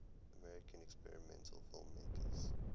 american experimental filmmakers